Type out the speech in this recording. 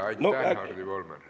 Aitäh, Hardi Volmer!